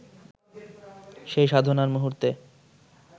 সেই সাধনার মুহূর্তে